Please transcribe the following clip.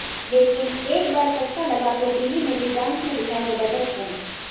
लेकिन एक बार चस्का लगा तो बीवी ने भी डांस में दिखाए जबरदस्त रंग